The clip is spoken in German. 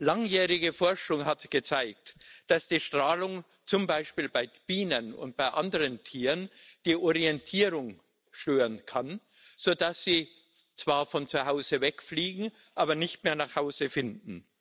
Langjährige Forschung hat gezeigt, dass die Strahlung zum Beispiel bei Bienen und bei anderen Tieren die Orientierung stören kann, sodass sie zwar von zu Hause wegfliegen, aber nicht mehr nach Hause finden.